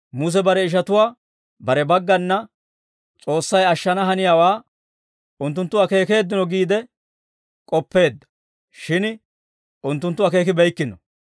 Muse bare ishatuwaa bare baggana S'oossay ashshana haniyaawaa unttunttu akeekeeddino giide k'oppeedda; shin unttunttu akeekibeykkino.